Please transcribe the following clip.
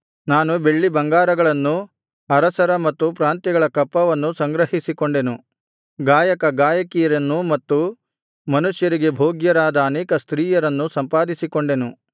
ನಾನು ಬೆಳ್ಳಿಬಂಗಾರಗಳನ್ನೂ ಅರಸರ ಮತ್ತು ಪ್ರಾಂತ್ಯಗಳ ಕಪ್ಪವನ್ನೂ ಸಂಗ್ರಹಿಸಿಕೊಂಡೆನು ಗಾಯಕ ಗಾಯಕಿಯರನ್ನು ಮತ್ತು ಮನುಷ್ಯರಿಗೆ ಭೋಗ್ಯರಾದ ಅನೇಕ ಸ್ತ್ರೀಯರನ್ನು ಸಂಪಾದಿಸಿಕೊಂಡೆನು